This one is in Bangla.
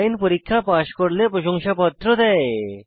অনলাইন পরীক্ষা পাস করলে প্রশংসাপত্র দেয়